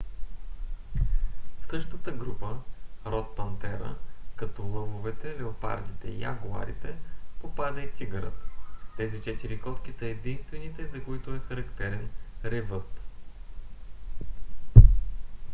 в същата група род пантера като лъвовете леопардите и ягуарите попада и тигърът. тези четири котки са единствените за които е характерен ревът